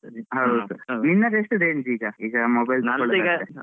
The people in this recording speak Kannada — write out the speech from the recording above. ಹೌದು ಹೌದು ನಿನ್ನದು ಎಷ್ಟು ಈಗ range Mobile